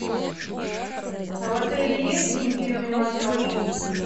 а в отеле есть интимный массаж